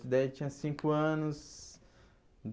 Daí Eu tinha cinco anos.